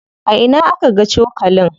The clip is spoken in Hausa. A ina aka ga cokalin?